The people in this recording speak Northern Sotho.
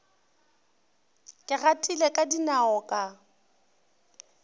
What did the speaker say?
ke gatile ka dinao ka